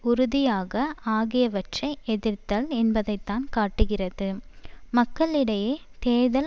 உறுதியாக ஆகியவற்றை எதிர்த்தல் என்பதைத்தான் காட்டுகிறது மக்களிடையே தேர்தல்